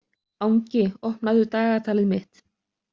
Angi, opnaðu dagatalið mitt.